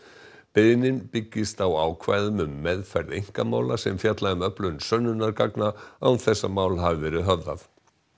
beiðnin byggist á ákvæðum um meðferð einkamála sem fjalla um öflun sönnunargagna án þess að mál hafi verið höfðað